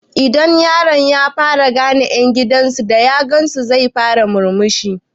Idan yaro ya fara gane ƴan gidan su da ya gansu sai ya fara murmushi